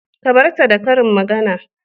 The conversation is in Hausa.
Ka bar ta da karin magana